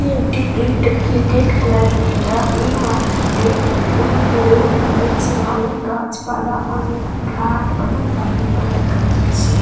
এটি একটি cricket cricket খেলার জায়গা এই মাঠটিতে অনেক দূরে দেখা যাচ্ছে অনেক গাছপালা অনেক ফ্ল্যাট অনেক বাড়ি ঘর দেখা যাচ্ছে।